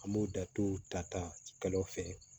An b'o da dɔw ta ta kɛlɛw fɛ